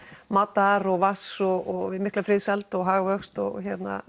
matar og vatns og við mikla friðsæld og hagvöxt og